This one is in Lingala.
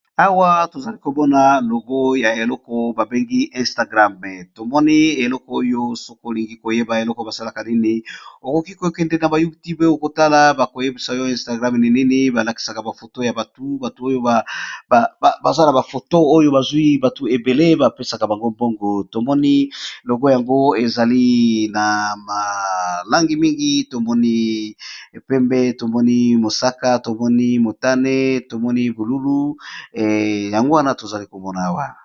Awa tozali komona logo ya eloko babengi instagrame tomoni eloko oyo, sokolingi koyeba eloko basalaka nini okoki kokende na bayuti peo kotala bakoyebisa oyo instagrame ninini balakisaka bafoto ya batu batu oyobaza na bafoto oyo bazwi batu ebele bapesaka bango mbongo. Tomoni logo yango ezali na malangi mingi, tomoni pembe tomoni mosaka tomoni motane tomoni bululu yango wana tozali kobona awa.